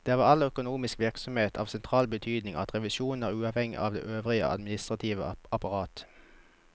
Det er ved all økonomisk virksomhet av sentral betydning at revisjonen er uavhengig av det øvrige administrative apparat.